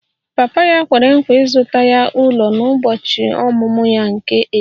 Papa ya kwere nkwa ịzụta ya ụlọ n'ụbọchị ọmụmụ ya nke 18